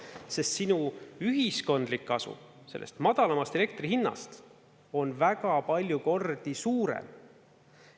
Sest sinu ühiskondlik kasu sellest madalamast elektrihinnast on väga palju kordi suurem.